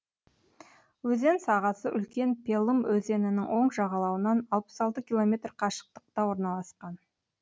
өзен сағасы үлкен пелым өзенінің оң жағалауынан алпыс алты километр қашықтықта орналасқан